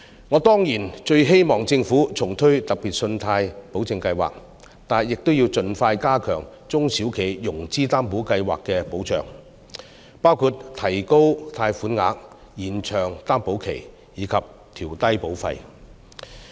我當然最希望政府重推計劃，但亦要盡快加強中小企融資擔保計劃的保障，包括提高貸款額、延長擔保期及調低保費。